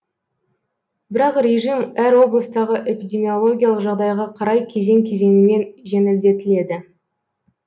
бірақ режим әр облыстағы эпидемиологиялық жағдайға қарай кезең кезеңімен жеңілдетіледі